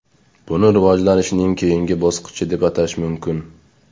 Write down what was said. Buni rivojlanishning keyingi bosqichi deb atash mumkin.